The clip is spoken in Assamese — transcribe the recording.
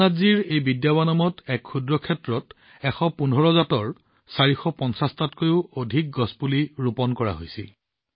ৰামনাথজীৰ এই বিদ্যাৱনমত এটা সৰু ঠাইত ১১৫ জাতৰ ৪৫০ টাতকৈও অধিক গছ ৰোপণ কৰা হৈছিল